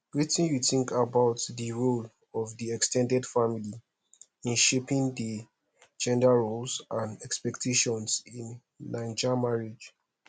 wetin you think about di role of di ex ten ded family in shaping di gender roles and expectations in naija marriage